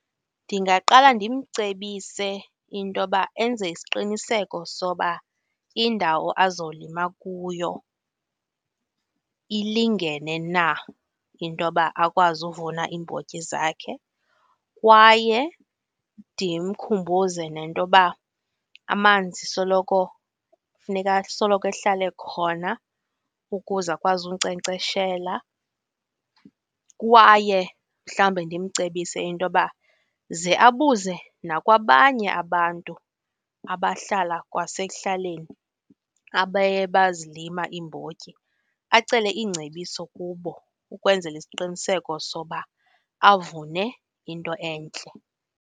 Ndingaqala ndimcebise into yoba enze isiqiniseko soba indawo azolima kuyo ilingene na intoba akwazi uvuna iimbotyi zakhe kwaye ndimkhumbuze nentoba amanzi soloko funeka asoloko ehlala ekhona ukuze akwazi unkcenkceshela. Kwaye mhlawumbi ndimcebise intoba ze abuze nakwabanye abantu abahlala kwasekuhlaleni abeye bazilima iimbotyi, acele iingcebiso kubo ukwenzela isiqiniseko soba avune into entle.